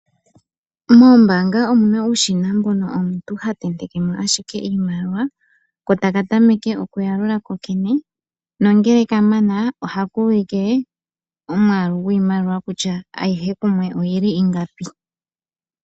Moombanga omuna uushina mbono omuntu ha tenteke mo ashike iimaliwa ko taka tameke oku yalula ko kene nongele ka mana ohaka ulike omwaalu gwiimaliwa kutya ayihe kumwe oyili ingapi.